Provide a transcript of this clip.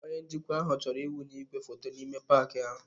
Onye njikwa ahụ chọrọ ịwụnye igwefoto n'ime paaki ahụ.